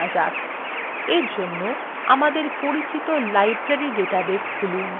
for জন্য আমাদের পরিচিত library ডাটাবেস খুলুন